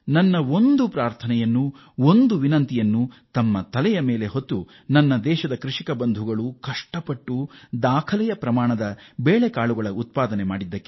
ನನ್ನ ಒಂದು ಪ್ರಾರ್ಥನೆಯನ್ನು ಒಂದು ವಿನಂತಿಯನ್ನು ಅಂಗೀಕರಿಸಿ ನಮ್ಮ ದೇಶದ ಕೃಷಿ ಬಾಂಧವರು ದಾಖಲೆಯ ಬೇಳೆಕಾಳುಗಳ ಉತ್ಪಾದನೆ ಮಾಡಿದ್ದಾರೆ